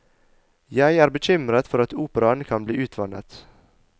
Jeg er bekymret for at operaen kan bli utvannet.